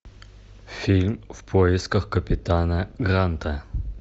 фильм в поисках капитана гранта